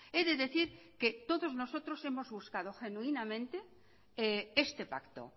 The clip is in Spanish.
he de decir que todos nosotros hemos buscado genuinamente este pacto